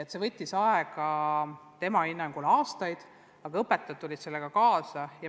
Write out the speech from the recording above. See võttis tema hinnangul aega aastaid, aga õpetajad tulid sellega kaasa.